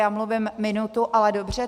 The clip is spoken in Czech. Já mluvím minutu, ale dobře.